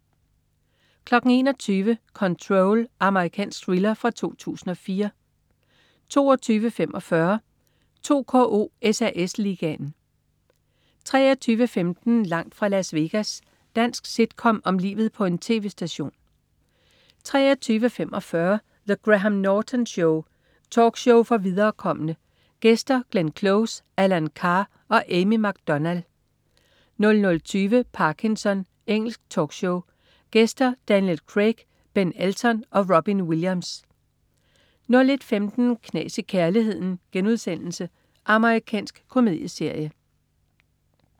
21.00 Control. Amerikansk thriller fra 2004 22.45 2KO: SAS Ligaen 23.15 Langt fra Las Vegas. Dansk sitcom om livet på en tv-station 23.45 The Graham Norton Show. Talkshow for viderekomne. Gæster: Glenn Close, Alan Carr og Amy McDonald 00.20 Parkinson. Engelsk talkshow. Gæster: Daniel Craig, Ben Elton og Robin Williams 01.15 Knas i kærligheden.* Amerikansk komedieserie